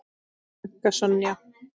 Þín frænka, Sonja.